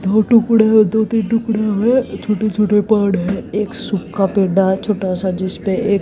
दो टुकड़े दो तीन टुकड़े हुए छोटे छोटे पाठ है। एक सूखा पेड़ा छोटा सा जिस पे एक--